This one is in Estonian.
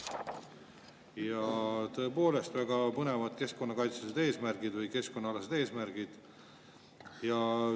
Ja tõepoolest, väga põnevad keskkonnakaitselised eesmärgid või keskkonnaalased eesmärgid.